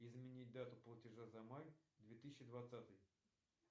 изменить дату платежа за май две тысячи двадцатый